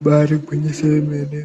Ibari gwinyiso yomene